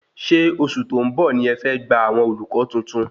Ṣé oṣù tó ń bọ̀ ní ẹ fẹ́ gbà àwọn olùkọ́ tuntun?